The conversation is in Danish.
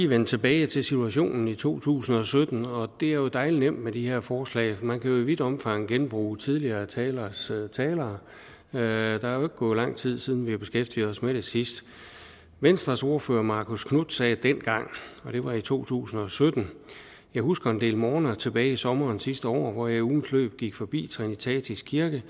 vende tilbage til situationen i to tusind og sytten det er jo dejlig nemt med de her forslag for man kan i vidt omfang genbruge tidligere taleres taler der er ikke gået lang tid siden vi beskæftigede os med det sidst venstres ordfører marcus knuth sagde dengang og det var i to tusind og sytten jeg husker en del morgener tilbage i sommeren sidste år hvor jeg i ugens løb gik forbi trinitatis kirke